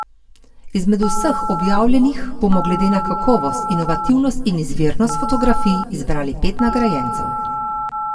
Izmed vseh objavljenih bomo glede na kakovost, inovativnost in izvirnost fotografij izbrali pet nagrajencev.